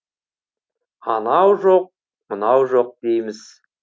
анау жоқ мынау жоқ дейміз